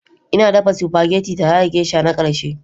Ina dafa spaghetti tare da Geisha na ƙarshe.